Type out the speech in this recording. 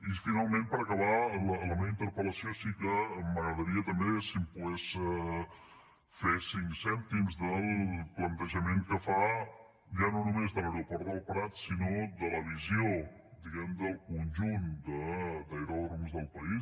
i finalment per acabar la meva interpel·lació sí que m’agradaria també si em pogués fer cinc cèntims del plantejament que fa ja no només de l’aeroport del prat sinó de la visió diguem ne del conjunt d’aeròdroms del país